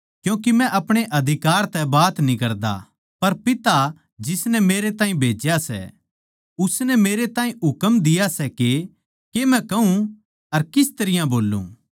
क्यूँके मै अपणे अधिकार तै बात न्ही करता पर पिता जिसनै मेरै ताहीं भेज्या सै उसनै मेरै ताहीं हुकम दिया सै के के मै कहूँ अर किस तरियां बोल्लूँ